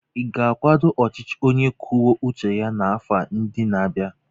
Ị ga-akwado ọchịchị onye kwuo uche ya n'afọ ndị na-abịa?